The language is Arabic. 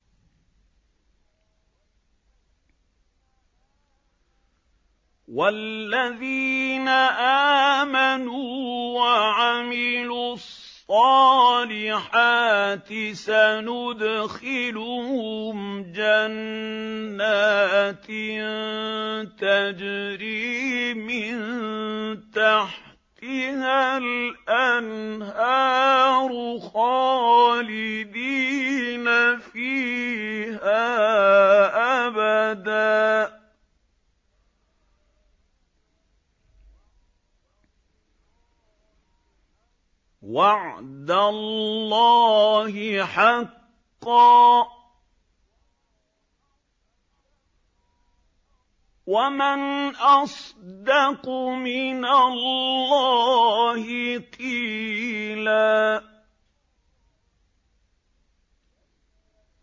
وَالَّذِينَ آمَنُوا وَعَمِلُوا الصَّالِحَاتِ سَنُدْخِلُهُمْ جَنَّاتٍ تَجْرِي مِن تَحْتِهَا الْأَنْهَارُ خَالِدِينَ فِيهَا أَبَدًا ۖ وَعْدَ اللَّهِ حَقًّا ۚ وَمَنْ أَصْدَقُ مِنَ اللَّهِ قِيلًا